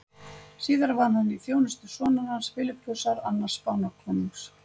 Síðar var hann í þjónustu sonar hans, Filippusar annars Spánarkonungs.